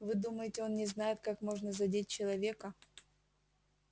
вы думаете он не знает как можно задеть человека